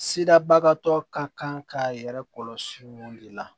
Sirabagatɔ ka kan k'a yɛrɛ kɔlɔsi olu de la